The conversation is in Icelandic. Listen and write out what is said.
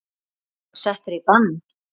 Var hann settur í bann?